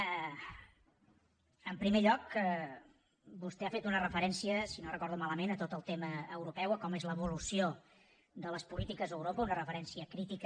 en primer lloc vostè ha fet una referència si no ho recordo malament a tot el tema europeu a com és l’evolució de les polítiques a europa una referència crítica